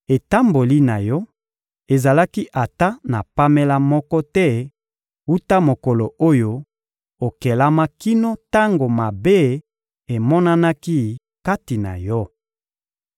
Etamboli na yo ezalaki ata na pamela moko te wuta mokolo oyo okelama kino tango mabe emonanaki kati na yo.